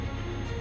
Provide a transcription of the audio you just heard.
normaldı.